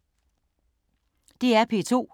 DR P2